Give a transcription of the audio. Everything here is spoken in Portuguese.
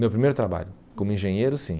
Meu primeiro trabalho, como engenheiro, sim.